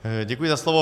Děkuji za slovo.